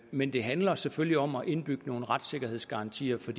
men det handler selvfølgelig om at indbygge nogle retssikkerhedsgarantier for